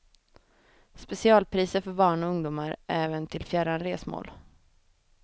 Specialpriser för barn och ungdomar även till fjärran resmål.